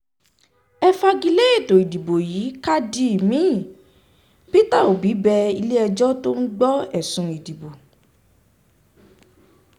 ẹ fagi lé ètò ìdìbò yìí ká di omi-ín peter obi bẹ um ilé-ẹjọ́ tó ń gbọ́ ẹ̀sùn um ìdìbò